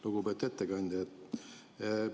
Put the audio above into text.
Lugupeetud ettekandja!